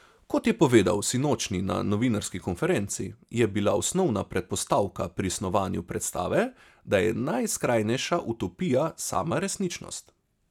Kot je povedal sinočnji na novinarski konferenci, je bila osnovna predpostavka pri snovanju predstave, da je najskrajnejša utopija sama resničnost.